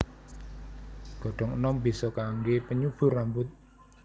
Godhong enom bisa kangge penyubur rambut